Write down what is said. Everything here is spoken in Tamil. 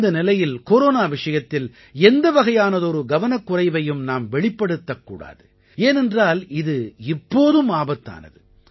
இந்த நிலையில் கொரோனா விஷயத்தில் எந்த வகையானதொரு கவனக்குறைவையும் நாம் வெளிப்படுத்தக் கூடாது ஏனென்றால் இது இப்போதும் ஆபத்தானது